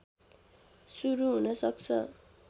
सुरु हुनसक्छ